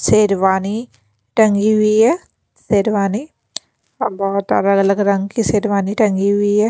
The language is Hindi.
शेरवानी टंगी हुई है शेरवानी बहुत अलग-अलग रंग की शेरवानी टंगी हुई है।